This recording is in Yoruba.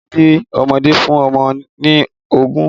Fi síbí ọmọdé fún ọmọ ní oògùn